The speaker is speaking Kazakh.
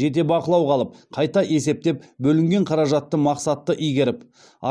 жете бақылауға алып қайта есептеп бөлінген қаражатты мақсатты игеріп